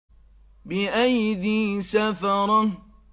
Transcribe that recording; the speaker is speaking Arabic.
بِأَيْدِي سَفَرَةٍ